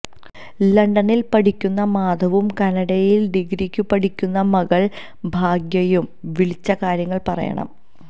ലണ്ടനിൽ പഠിക്കുന്ന മാധവും കാനഡയിൽ ഡിഗ്രിക്കു പഠിക്കുന്ന മകൾ ഭാഗ്യയും വിളിച്ച കാര്യങ്ങൾ പറയണം